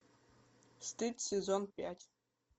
стыд сезон пять